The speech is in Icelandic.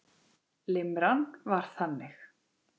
Limran var þannig: